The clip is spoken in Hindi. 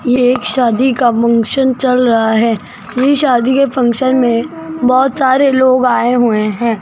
ये एक शादी का फंक्शन चल रहा है ये शादी के फंक्शन मे बहोत सारे लोग आये हुए हैं।